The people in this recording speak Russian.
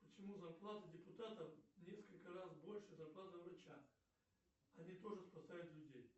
почему зарплата депутата в несколько раз больше зарплаты врача они тоже спасают людей